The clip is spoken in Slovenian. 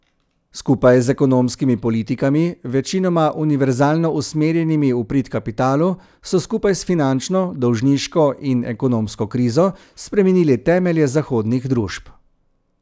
Skupaj z ekonomskimi politikami, večinoma univerzalno usmerjenimi v prid kapitalu, so skupaj s finančno, dolžniško in ekonomsko krizo spremenili temelje zahodnih družb.